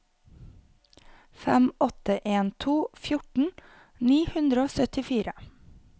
fem åtte en to fjorten ni hundre og syttifire